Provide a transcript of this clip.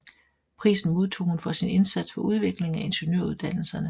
Prisen modtog hun for sin indsats for udvikling af ingeniøruddannelserne